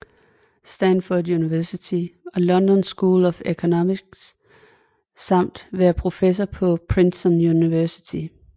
Stanford University og London School of Economics samt været professor på Princeton University